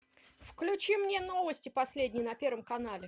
включи мне новости последние на первом канале